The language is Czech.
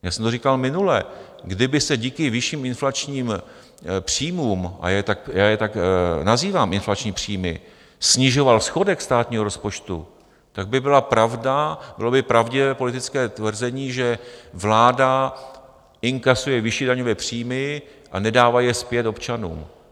Já jsem to říkal minule, kdyby se díky vyšším inflačním příjmům - a já je tak nazývám, inflační příjmy - snižoval schodek státního rozpočtu, tak by byla pravda, bylo by pravdivé politické tvrzení, že vláda inkasuje vyšší daňové příjmy a nedává je zpět občanům.